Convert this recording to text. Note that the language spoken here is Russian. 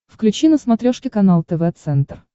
включи на смотрешке канал тв центр